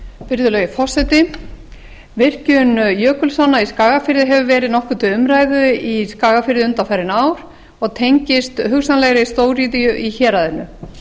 virðulegi forseti virkjun jökulsánna í skagafirði hefur verið nokkuð til umræðu í skagafirði undanfarin ár og tengist hugsanlegri stóriðju í héraðinu